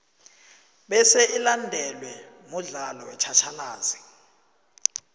bese ilandelwe mudlalo wetjhatjhalazi